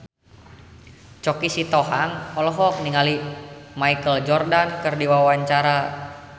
Choky Sitohang olohok ningali Michael Jordan keur diwawancara